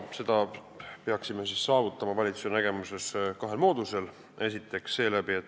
Seda peaksime valitsuse nägemuses saavutama kahe mooduse abil.